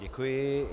Děkuji.